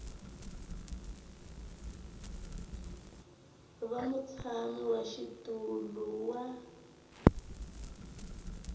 va mutshami wa xitulu wa